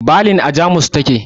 Balin a Jamus ta ke